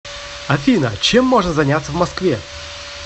афина чем можно заняться в москве